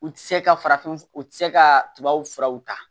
U tɛ se ka farafin u tɛ se ka tubabuw furaw ta